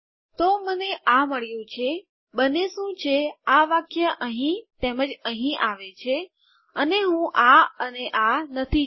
તો મને આ મળ્યું છે બને શું છે આ વાક્ય અહીં તેમજ અહીં આવે છે અને હું આ અને આ નથી ચાહતી